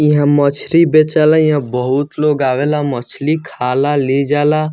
इहां मछरी बेचे ला इहां बहुत लोग आवे ला मछली खाला ले जाला।